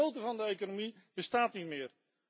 De motor van de economie bestaat niet meer.